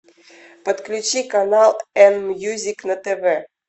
подключи канал н мьюзик на тв